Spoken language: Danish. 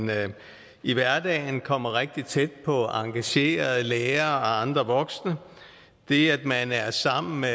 i hverdagen kommer rigtig tæt på engagerede lærere og andre voksne det at man er sammen med